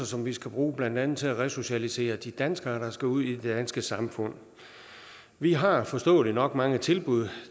som vi skal bruge blandt andet til at resocialisere de danskere der skal ud i det danske samfund vi har forståeligt nok mange tilbud